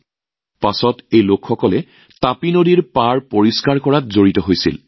পিছলৈ এই লোকসকলেও টাপিৰিভাৰৰ পাৰ চাফা কৰাৰ কামত সম্পূৰ্ণ হৃদয়েৰে জড়িত হৈ পৰে